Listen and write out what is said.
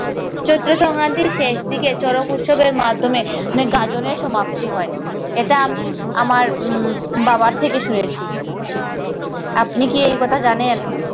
চৈত্র সংক্রান্তির শেষ দিকে শরৎ উৎসবের মাধ্যমে মানে গাজনের সমাপ্তি হয়। এটা আমি আমার উম বাবার থেকে শুনেছি। আপনি কি একথা জানেন?